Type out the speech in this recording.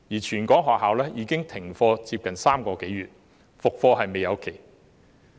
全港學校已經停課3個多月，復課無期。